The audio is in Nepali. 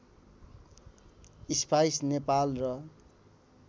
स्पाइस नेपाल र